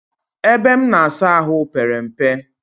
Ebe m na-asa ahụ pere mpe